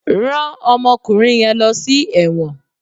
Rán ọmọkùnrin yẹn lọ sí ẹ̀wọ̀n.